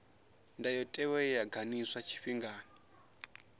ndayotewa ye ya ganḓiswa tshifhingani